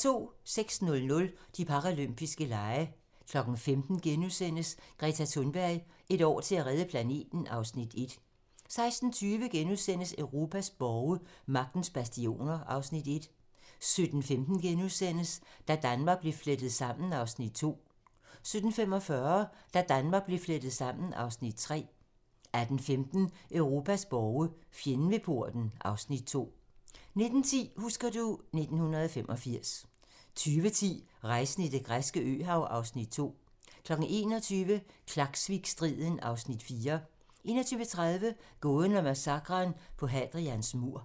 06:00: De paralympiske lege 15:00: Greta Thunberg: Et år til at redde planeten (Afs. 1)* 16:20: Europas borge: Magtens bastioner (Afs. 1)* 17:15: Da Danmark blev flettet sammen (Afs. 2)* 17:45: Da Danmark blev flettet sammen (Afs. 3) 18:15: Europas borge: Fjenden ved porten (Afs. 2) 19:10: Husker du ... 1985 20:10: Rejsen i det græske øhav (Afs. 2) 21:00: Klaksvikstriden (Afs. 4) 21:30: Gåden om massakren på Hadrians mur